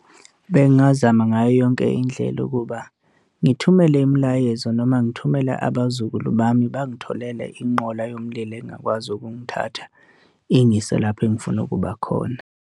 Bengingazama ngayo yonke indlela ukuba ngithumele imilayezo noma ngithumele abazukulu bami, bangitholele inqola yomlilo engakwazi ukungithatha ingiyise lapho engifuna ukuba khona.